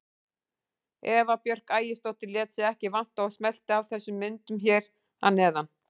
Eva Björk Ægisdóttir lét sig ekki vanta og smellti af þessum myndum hér að neðan.